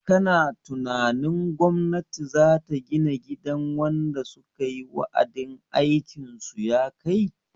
Kana tunanin gwamnati zata gina gidan wanda sukayi wa'adin aikin su yakai?